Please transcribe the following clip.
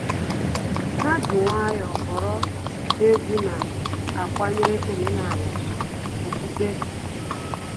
Ha ji nwayọọ họrọ egwu na-akwanyere omenala na okpukpe ùgwù